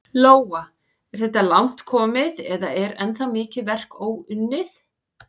Lóa: Er þetta langt komið eða er ennþá mikið verk óunnið?